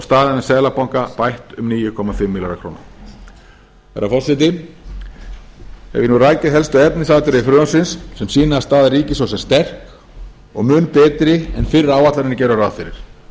staðan við seðlabanka bætt um níu komma fimm milljarða króna herra forseti hef ég nú rakið helstu efnisatriði frumvarpsins sem sýna að staða ríkissjóðs er sterk og mun betri en fyrri áætlanir gerðu ráð fyrir